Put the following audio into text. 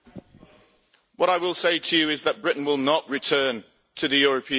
What I will say to you is that Britain will not return to the European Union.